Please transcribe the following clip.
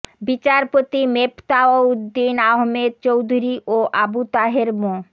বিচারপতি মেফতাহ উদ্দিন আহমেদ চৌধুরী ও আবু তাহের মো